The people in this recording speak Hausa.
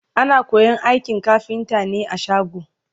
ana koyan aikin kafinta ne a shago